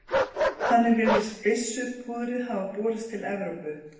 þannig virðist byssupúðrið hafa borist til evrópu